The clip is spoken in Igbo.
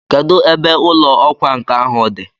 Kedụ ebe ụlọ ọkwa nkà ahụ dị?